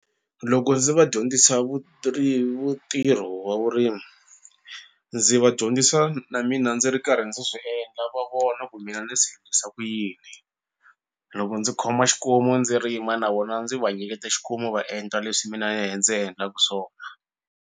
Loko ndzi va dyondzisa vu ntirho wa vurimi ndzi va dyondzisa na mina ndzi ri karhi ndzi swi endla va vona ku mina ni swi ku yini loko ndzi khoma xikomu ndzi rima navona ndzi va nyiketa xikomu va endla leswi mina ndze endlaku swona.